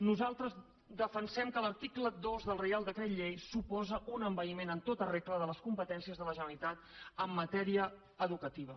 nosaltres defensem que l’article dos del reial decret llei suposa un envaïment en tota regla de les competències de la generalitat en matèria educativa